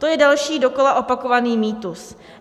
To je další dokola opakovaný mýtus.